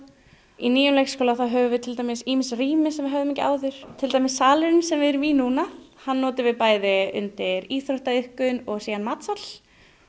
í nýjum leikskóla höfum við til dæmis ýmis rými sem við höfðum ekki áður til dæmis salurinn sem við erum í núna hann notum við bæði undir íþróttaiðkun og síðan matsal